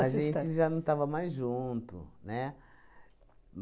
A gente já não estava mais junto, né?